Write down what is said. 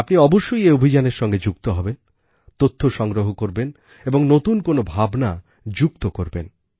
আপনি অবশ্যই এই অভিযানের সঙ্গে যুক্ত হবেন তথ্য সংগ্রহ করবেন এবং নতুন কোনও ভাবনা যুক্ত করবেন